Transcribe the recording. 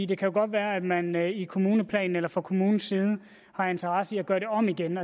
det kan godt være at man i kommuneplanen eller fra kommunens side har interesse i at gøre det om igen